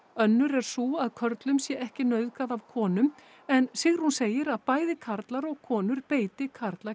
önnur er sú að körlum sé ekki nauðgað af konum en Sigrún segir að bæði karlar og konur beiti karla